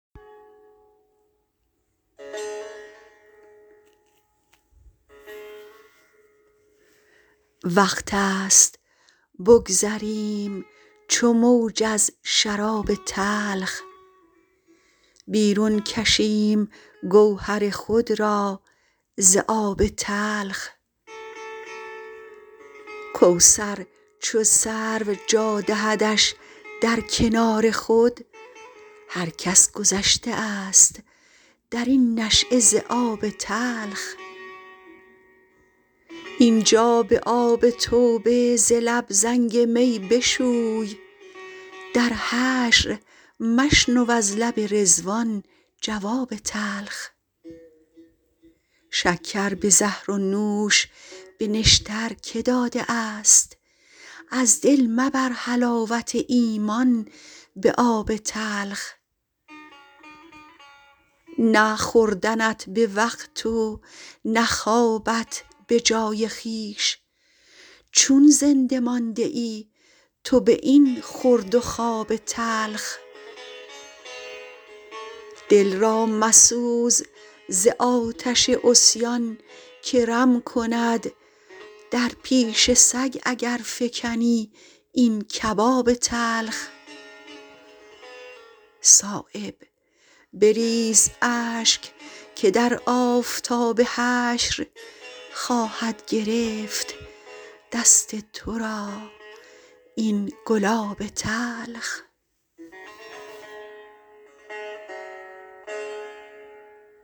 وقت است بگذریم چو موج از شراب تلخ بیرون کشیم گوهر خود را ز آب تلخ کوثر چو سرو جا دهدش در کنار خود هر کس گذشته است درین نشأه ز آب تلخ اینجا به آب توبه ز لب زنگ می بشوی در حشر مشنو از لب رضوان جواب تلخ شکر به زهر و نوش به نشتر که داده است از دل مبر حلاوت ایمان به آب تلخ نه خوردنت به وقت و نه خوابت به جای خویش چون زنده مانده ای تو به این خورد و خواب تلخ دل را مسوز ز آتش عصیان که رم کند در پیش سگ اگر فکنی این کباب تلخ صایب بریز اشک که در آفتاب حشر خواهد گرفت دست ترا این گلاب تلخ